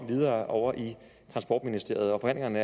videre om over i transportministeriet og forhandlingerne